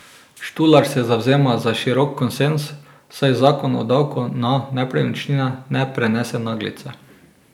Štular se zavzema za širok konsenz, saj zakon o davku na nepremičnine ne prenese naglice.